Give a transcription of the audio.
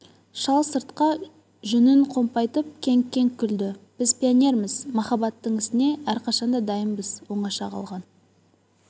шал сыртқа жүнін қомпайтып кеңк-кеңк күлді біз пионерміз махаббаттың ісіне әрқашан да дайынбыз оңаша қалған